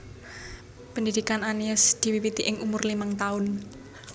Pendhidhikan Anies diwiwiti ing umur limang taun